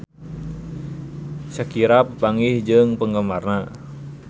Shakira papanggih jeung penggemarna